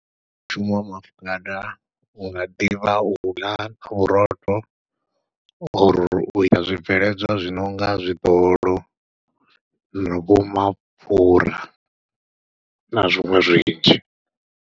Mushumo wa maafukhada u nga ḓivha u ḽa vhurotho, or u ita zwibveledzwa zwinonga zwiḓolo, na vho mapfhura, na zwiṅwe zwinzhi.